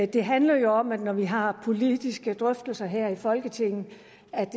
det handler jo om at når vi har politiske drøftelser her i folketinget